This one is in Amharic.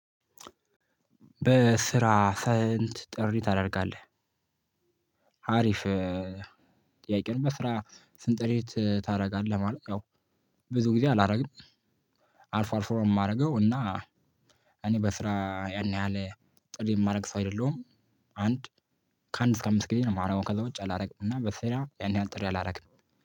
በስራ ፈንት ጥሪ ታደርጋለህ? ሀሪፍ። በስራ ስንጥሬት ታደርጋለህ ማለት ያው ብዙ ጊዜ አላደርግም። አልፎ አልፎ ነው የማደርገው እና። እኔ በስራ ያን ያህል ጥሪ የማደርግ ሰው አይደለሁም። አንድ ከአንድ እስከ አምስት ጊዜ ነው ማረጎ ከዛ ውጭ አላረግንም። እና በስራ ያን ያህል ጥሪ አላረግንም።